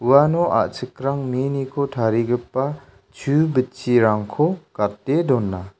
uano a·chikrang miniko tarigipa chu bitchirangko gate dona.